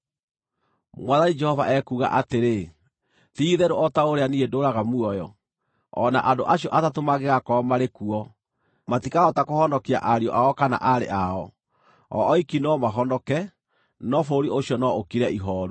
Mwathani Jehova ekuuga atĩrĩ, ti-itherũ o ta ũrĩa niĩ ndũũraga muoyo, o na andũ acio atatũ mangĩgakorwo marĩ kuo, matikahota kũhonokia ariũ ao kana aarĩ ao. O oiki no mahonoke, no bũrũri ũcio no ũkire ihooru.